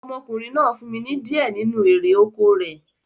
Ọmọkùnrin náà fún mi ní di ẹ nínu erè oko rẹ̀